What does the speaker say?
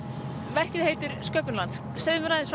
verkið heitir sköpun lands segðu mér aðeins